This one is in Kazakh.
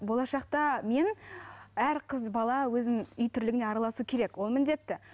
болашақта мен әр қыз бала өзінің үй тірлігіне араласу керек ол міндетті